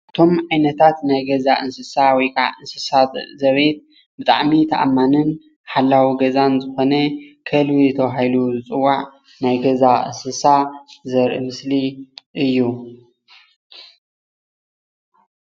እቶም ዓይነታት ናይ ገዛ እንስሳ ወይ ከዓ እንስሳታት ዘቤት ብጣዕሚ ተኣማኒን ሓላዊ ገዛን ዝኮነ ከልቢ ተባሂሉ ዝፅዋዕ ናይ ገዛ እንስሳ ዘርኢ ምስሊ እዩ፡፡